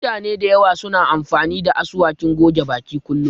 Mutane da yawa suna amfani da asuwakin goge baki kullum